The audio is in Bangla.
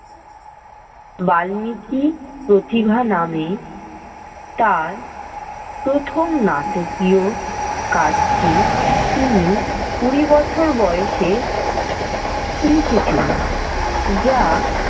বাল্মিকী প্রতিভা নামে তার প্রথম নাটকীয় কাজটি তিনি কুড়ি বছর বয়সে লিখেছিলেন যা।